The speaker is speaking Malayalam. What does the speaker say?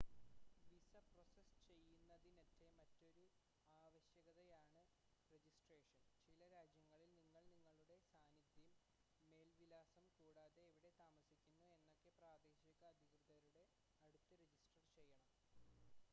വിസ പ്രോസസ്സ് ചെയ്യുന്നതിനറ്റെ മറ്റൊരു ആവശ്യകതയാണ് രെജിസ്ട്രേഷൻ ചില രാജ്യങ്ങളിൽ നിങ്ങൾ നിങ്ങളുടെ സാന്നിദ്ധ്യം മേൽ വിലാസം കൂടാതെ എവിടെ താമസിക്കുന്നു എന്നതൊക്കെ പ്രാദേശിക അധികൃതരുടെ അടുത്ത് രെജിസ്റ്റർ ചെയ്യണം